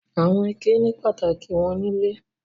Àwọn ike ní pàtàkì wọn nílé.